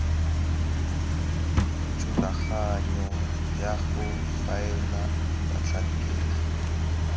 thulaganyo ya go faela batlhankedi